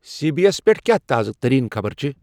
C B S پیٹھ کیا تازٕ ترین خبر چِھ ؟